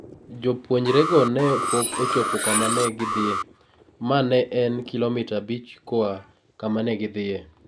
Jopuonjrego ne pok ochopo kama ne gidhiye, ma ne en kilomita abich koa kama ne gidhiye.